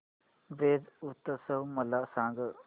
ब्रज उत्सव मला सांग